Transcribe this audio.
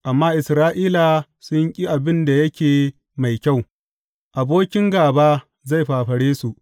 Amma Isra’ila sun ƙi abin da yake mai kyau; abokin gāba zai fafare su.